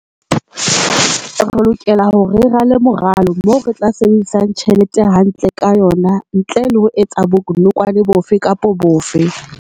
Re lokela hore re rale moralo moo re tla sebedisang tjhelete hantle ka yona ntle le ho etsa bonokwane bofe kapa bofe.